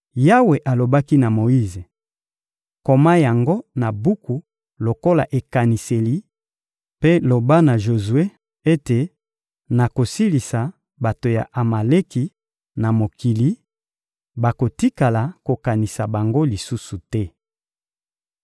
Yawe alobaki na Moyize: — Koma yango na buku lokola ekaniseli, mpe loba na Jozue ete nakosilisa bato ya Amaleki na mokili; bakotikala kokanisa bango lisusu te.